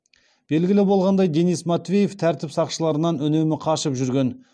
белгілі болғандай денис матвеев тәртіп сақшыларынан үнемі қашып жүрген